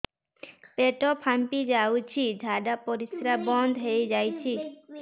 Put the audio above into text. ପେଟ ଫାମ୍ପି ଯାଉଛି ଝାଡା ପରିଶ୍ରା ବନ୍ଦ ହେଇ ଯାଉଛି